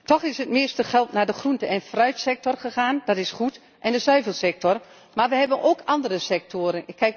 Toch is het meeste geld naar de groente en fruitsector gegaan dat is goed en naar de zuivelsector, maar we hebben ook andere sectoren.